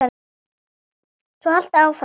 Svona haltu áfram, maður!